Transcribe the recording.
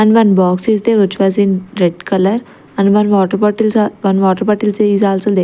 and one box is there which was in red colour and one water bottles are one water bottles is also--